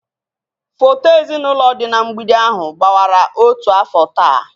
Foto ezinụlọ dị na mgbidi ahụ gbawara otu afọ taa